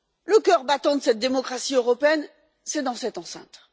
Le cœur battant de cette démocratie européenne est dans cette enceinte.